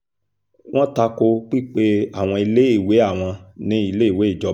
wọ́n ta ko pípé àwọn iléèwé àwọn ní iléèwé ìjọba